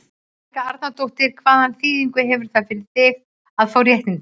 Helga Arnardóttir: Hvaða þýðingu hefur það fyrir þig að fá réttindi?